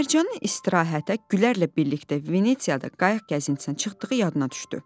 Mərcanın istirahətə Gülərlə birlikdə Venesiyada qayıq gəzintisinə çıxdığı yadına düşdü.